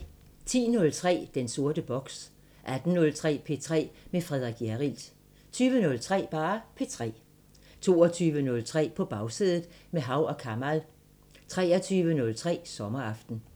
10:03: Den sorte boks 18:03: P3 med Frederik Hjerrild 20:03: P3 22:03: På Bagsædet – med Hav & Kamal 23:03: Sommeraften